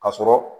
Ka sɔrɔ